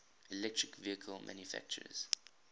electric vehicle manufacturers